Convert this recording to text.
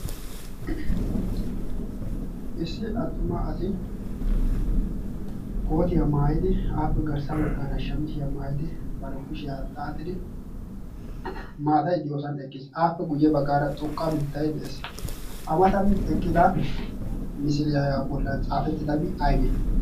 issi attuma asi kootiyaa maayidi aappe garssa baggaara shamisiyaa maayidi baro kushiyaa xaaxidi maatai de'oosan eqqiis aappe guyye baggaara xoqqa mittai de'ees. amatan eqqida misiliyaayaa bollan caafettidabi ayse?